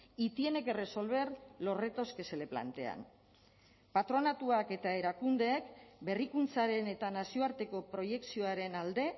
y tiene que resolver los retos que se le plantean patronatuak eta erakundeek berrikuntzaren eta nazioarteko proiekzioaren alde